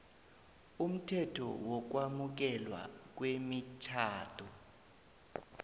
umthetho wokwamukelwa kwemitjhado